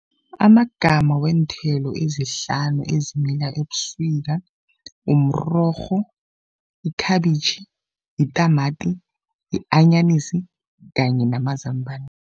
Amagama weenthelo ezihlanu ezimila ebusika mrorho, ikhabitjhi, yitamati, yi-anyanisi kanye namazambana.